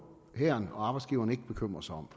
hæren og arbejdsgiveren ikke bekymre sig om